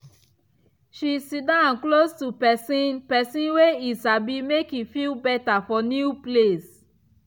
she siddon close to person person wey e sabi make e feel better for new place.